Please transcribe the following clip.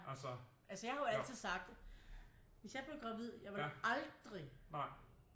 Altså jeg har jo altid sagt hvis jeg blev gravid jeg ville aldrig